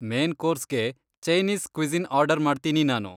Main ಕೋರ್ಸ್ಗೆ Chinese cuisine order ಮಾಡ್ತೀನಿ ನಾನು.